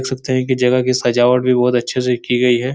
देख सकते हैं की जगह की सजावट भी बहुत अच्छे से की गई है।